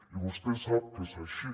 i vostè sap que és així